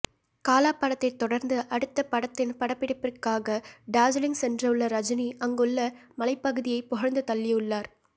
காலா படத்தைத் தொடர்ந்து அடுத்த படத்தின் படப்பிடிப்பிற்காக டார்ஜிலிங் சென்றுள்ள ரஜினி அங்குள்ள மலைப்பகுதியை புகழ்ந்து தள்ளியுள்ளார்